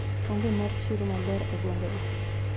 onge mar chiro maber e gwenge go.